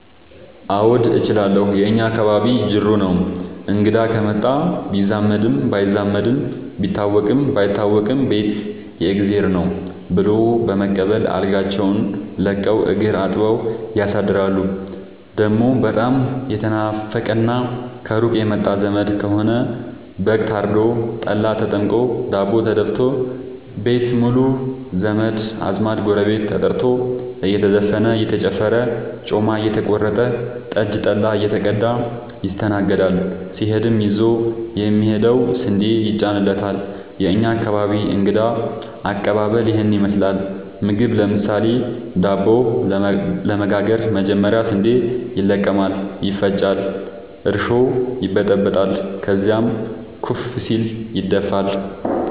አዎድ እችላለሁ የእኛ አካባቢ ጅሩ ነው። እንግዳ ከመጣ ቢዛመድም ባይዛመድም ቢታወቅም ባይታወቅም ቤት የእግዜር ነው። ብሎ በመቀበል አልጋቸውን ለቀው እግር አጥበው ያሳድራሉ። ደሞ በጣም የተናፈቀና ከሩቅ የመጣ ዘመድ ከሆነ በግ ታርዶ፤ ጠላ ተጠምቆ፤ ዳቦ ተደፋቶ፤ ቤት ሙሉ ዘመድ አዝማድ ጎረቤት ተጠርቶ እየተዘፈነ እየተጨፈረ ጮማ እየተቆረጠ ጠጅ ጠላ እየተቀዳ ይስተናገዳል። ሲሄድም ይዞ የሚሄደው ስንዴ ይጫንለታል። የእኛ አካባቢ እንግዳ ከቀባበል ይህን ይመስላል። ምግብ ለምሳሌ:- ዳቦ ለመጋገር መጀመሪያ ስንዴ ይለቀማል ይፈጫል እርሾ ይበጠበጣል ከዚያም ኩፍ ሲል ይደፋል።